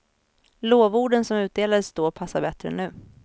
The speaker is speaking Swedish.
Lovorden som utdelades då passar bättre nu.